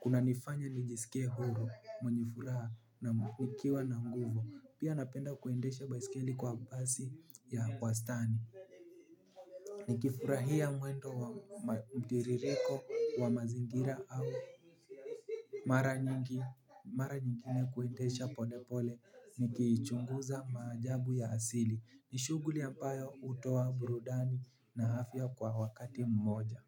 kunanifanya nijisike huru mwenye furaha na nikiwa na nguvu pia napenda kuendesha baisikeli kwa kasi ya wastani. Nikifurahia mwendo wa mtiririko wa mazingira au mara nyingine kuendesha polepole nikiichunguza maajabu ya asili. Ni shughuli ambayo hutoa burudani na afya kwa wakati mmoja.